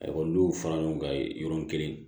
n'u y'u fara ɲɔgɔn kan ye yɔrɔnin kelen